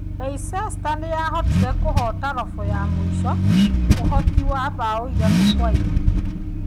Leicester nĩ yahotire kũhoota robo ya mũico, ũhooti wa bao 3-2.